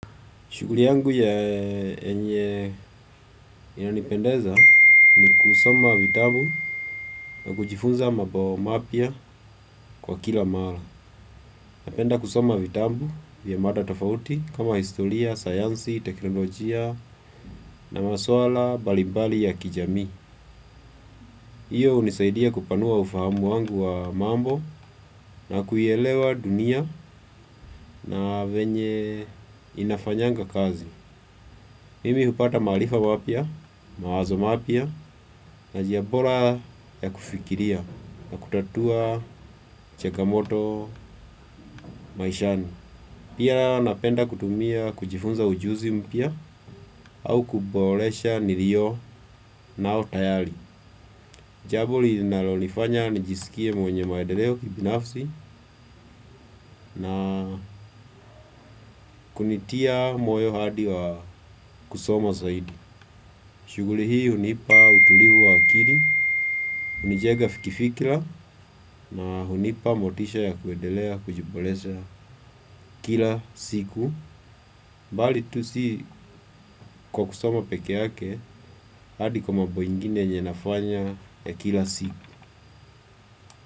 Shughuli yangu yenye inanipendeza ni kusoma vitabu na kujifunza mambo mapya kwa kila mara. Napenda kusoma vitabu vya mada tofauti kama historia, sayansi, teknolojia na masuala mbalimbali ya kijamii. Hiyo hunisaidia kupanua ufahamu wangu wa mambo na kuielewa dunia na venye inafanyanga kazi. Mimi hupata maarifa mapya, mawazo mapya, na njia bora ya kufikiria na kutatua changamoto maishani. Pia napenda kutumia kujifunza ujuzi mpya au kuboresha nilionayo tayari. Jambo linalonifanya nijisikie mwenye maedeleo kibinafsi na kunitia moyo hadi wa kusoma zaidi. Shughuli hii hunipa utulivu wa akili, hunijenga kifikira na hunipa motisha ya kuendelea kujiboresha kila siku. Bali tu si kwa kusoma peke yake hadi kwa mambo ingine yenye nafanya ya kila siku.